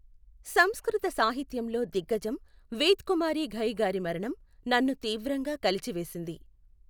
సంస్కృత సాహిత్యంలో దిగ్గజం వేద్ కుమారి ఘయి గారి మరణం నన్ను తీవ్రంగా కలచివేసింది.